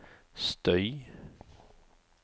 støy